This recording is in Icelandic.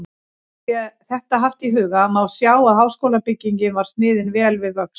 Sé þetta haft í huga, má sjá, að háskólabyggingin var sniðin vel við vöxt.